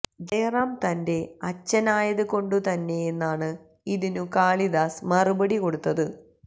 ജയറാം തന്റെ അച്ഛനായത് കൊണ്ടുതന്നെയെന്നാണ് ഇതിനു കാളിദാസ് മറുപടി കൊടുത്തത്